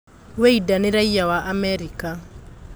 Wĩinda nĩ raiya wa Amerika.